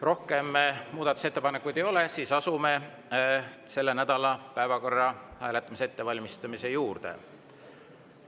Rohkem muudatusettepanekuid ei ole, asume selle nädala päevakorra hääletamise ettevalmistamise juurde.